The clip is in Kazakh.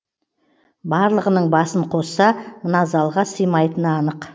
барлығының басын қосса мына залға симайтыны анық